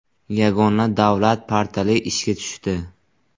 Yagona davlat portali ishga tushdi.